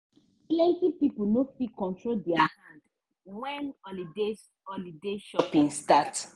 plenty pipo no fit control their hand when holiday holiday shopping start.